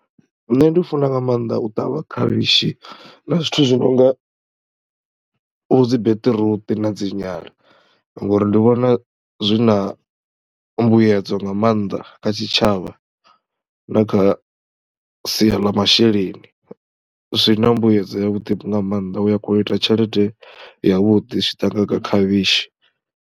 Nṋe ndi funa nga maanḓa u ṱavha khavhishi na zwithu zwi no nga vho dzi beṱiruṱi na dzi nyala ngori ndi vhona zwi na mbuyedzo nga maanḓa kha tshitshavha na kha sia ḽa mashelenim zwi na mbuyedzo yavhuḓi nga maanḓa, u ya kona ita tshelede yavhuḓi zwi tshi ḓa nga kha khavhishi.